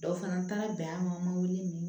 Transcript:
Dɔ fana taara bi an ma wuli ni